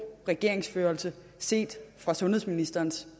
regeringsførelse set fra sundhedsministerens